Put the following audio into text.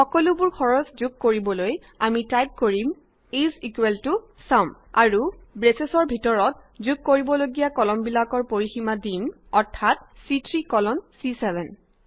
সকলোবোৰ যোগ কৰিবলৈ আমি টাইপ কৰিম ইজ ইকুৱেল টু ছাম আৰু ব্ৰেচৰ ভিতৰত যোগ কৰিবলগীয়া কলমবিলাকৰ পৰিসীমা দিম অৰ্থাত চি3 কলন C7